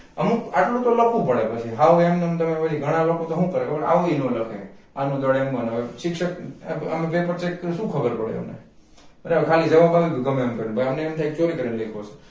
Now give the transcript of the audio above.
અમુક એટલું તો લખવું પડે પછી હાવ એમ નેમ તમે પછી ઘણા લોકો તો હું કરે છે આવુંઈ નો લખે r નું દળ m માં ને હવે શિક્ષક અમ આમ paper check કરે તો શું ખબર પડે બરાબર ખાલી જવાબ આવી ગ્યો ગમેએમ કરી ને પણ અમને એમ તાહ્ય કે ચોરી કરી ને લખ્યું હશે